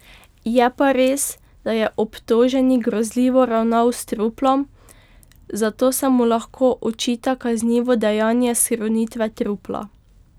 Je pa res, da je obtoženi grozljivo ravnal s truplom, zato se mu lahko očita kaznivo dejanje skrunitve trupla.